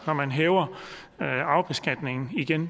når man hæver arvebeskatningen igen